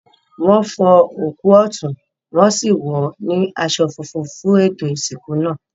Wọn fọ òkú ọ̀tún, wọn sì wọ́n sì wọ̀ ọ́ ní aṣọ funfun fún ètò ìsìnkú náà.